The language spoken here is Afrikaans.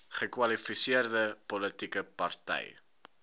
kwalifiserende politieke party